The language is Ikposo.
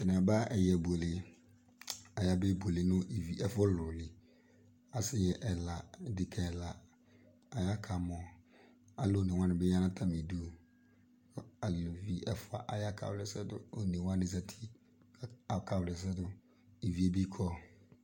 atanɩaɓa ɛƴɛɓʊele asɩnɩ ɛla elʊʋɩnɩɓɩ atalʊɛla aɓa ɩtoɗɩlɩ ɩʋɩaɓʊnɩ ɩtɔƴɛlɩ mɛɛ tʊ asɩ ɛla ɗʊnʊ ɗeƙa ɛlawanɩ aƙamɔ alʊɔnewanɩɓɩ ƴanʊ atamɩɗʊ alʊʋɩ ɛʋʊa akawla ɛsɛɗʊ alʊɔnewaniɓi azatɩ mɛɛ atanɩɓɩ aƙawlɛsɛɗʊ ɩʋieɓɩ kɔ